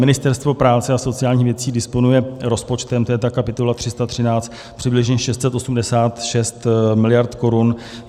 Ministerstvo práce a sociálních věcí disponuje rozpočtem, to je ta kapitola 313, přibližně 686 miliard korun.